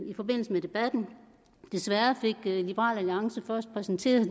i forbindelse med debatten desværre fik liberal alliance først præsenteret